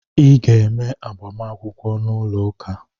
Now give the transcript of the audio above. Ị ga eme -agbamakwụkwọ n’ụlọ ụka!